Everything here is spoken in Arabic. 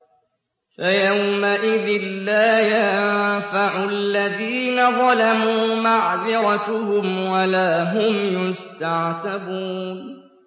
فَيَوْمَئِذٍ لَّا يَنفَعُ الَّذِينَ ظَلَمُوا مَعْذِرَتُهُمْ وَلَا هُمْ يُسْتَعْتَبُونَ